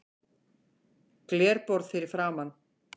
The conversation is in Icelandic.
Glerborð fyrir framan.